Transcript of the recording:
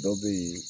Dɔ bɛ ye